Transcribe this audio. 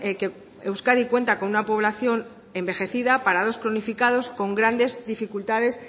que euskadi cuenta con una población envejecida parados cronificados con grandes dificultades